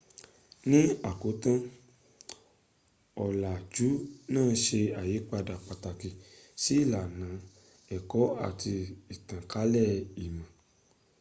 ní àkótán ọ̀làjú náà se àyípadà pàtàkì sí ilànà ẹ̀kọ́ àti ìtànkálẹ̀ ìmọ̀